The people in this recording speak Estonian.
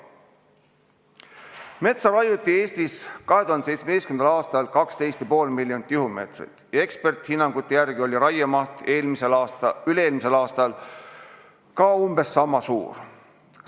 Metsa raiuti Eestis 2017. aastal 12,5 miljonit tihumeetrit ja eksperdihinnangute järgi oli raiemaht üle-eelmisel aastal ka umbes sama suur.